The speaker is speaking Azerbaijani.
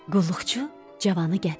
Qulluqçu cavanı gətirdi.